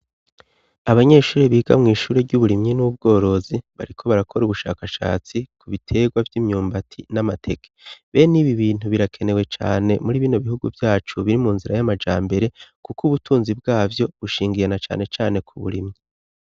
Abanyeshure biga mw'ishure ry'uburimyi n'ubworozi bariko barakora ubushakashatsi ku biterwa vy'imyumbati n'amateke. Be n'ibi bintu birakenewe cane muri bino bihugu vyacu biri mu nzira y'amajambere kuko ubutunzi bwavyo bushingiye na cane cane ku burimyi.